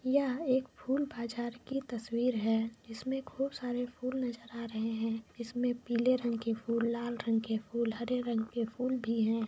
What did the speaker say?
यहा एक फुल बाजर की तस्वीर है इसमें खूब सारे फुल नजर आ रहे है इसमें पीले रेंग के फुल लाल रंग के फुल हरे रगं के फुल भी है।